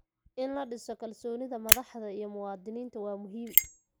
In la dhiso kalsoonida madaxda iyo muwaadiniinta waa muhiim.